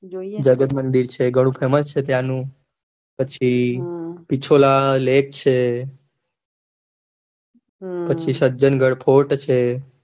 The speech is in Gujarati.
જોઈએ જગતમંદિર છે ઘણું famous છે ત્યાં નું પછી પિછોલા lake છે પછી સજ્જનગઢ fort છે.